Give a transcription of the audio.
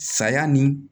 Saya ni